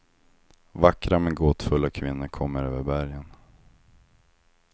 Vackra men gåtfulla kvinnor kommer över bergen.